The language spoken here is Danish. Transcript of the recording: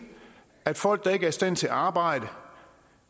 at folk der ikke er i stand til at arbejde